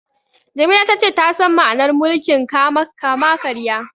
Jamila ta ce ta san ma'anar mulkin kama-karya.